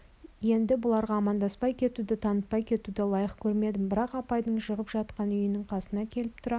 енді бұларға амандаспай кетуді танытпай кетуді лайық көрмедім бір апайдың жығып жатқан үйінің қасына келіп тұра